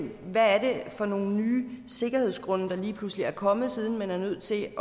hvad er det for nogle nye sikkerhedsgrunde der lige pludselig er kommet siden man er nødt til at